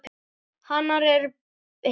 Hanar eru hetjur.